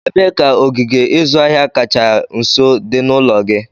Ebee ka ogige ịzụ ahịa kacha nso dị n'ụlọ gị?